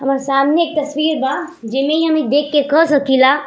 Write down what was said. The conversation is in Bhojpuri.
हमार सामने एक तस्वीर बा जेमे ई हम ई देख के कह सकिला --